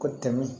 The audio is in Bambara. Ko tɛmɛn